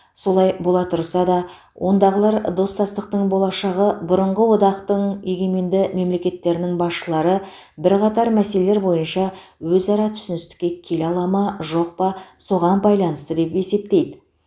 солай бола тұрса да ондағылар достастықтың болашағы бұрынғы одақтың егеменді мемлекеттерінің басшылары бірқатар мәселелер бойынша өзара түсіністікке келе ала ма жоқ па соған байланысты деп есептейді